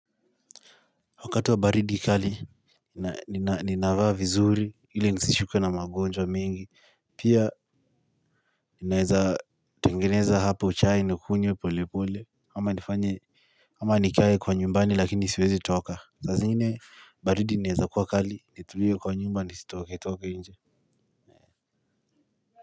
Wakati wa baridi kali ninavaa vizuri ili nisishikwe na magonjwa mengi pia ninaeza tengeneza hapo chai nikunywe pole pole ama nifanye ama nikae kwa nyumbani lakini siwezi toka saa zingine baridi inaweza kuwa kali nitulie kwa nyumba nisitoke toke nje.